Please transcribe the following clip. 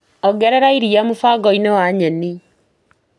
Ongerera iria mũbango-inĩ wa nyeni.